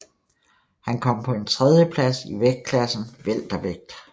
Han kom på en tredjeplads i vægtklassen weltervægt